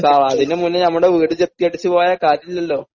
sir അതിന്റെ മുന്നേ ഞങ്ങളുടെ വീട് ജപ്തി അടച്ചു പോയാൽ കാര്യമില്ലല്ലോ